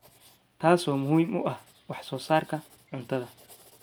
taasoo muhiim u ah wax soo saarka cuntada.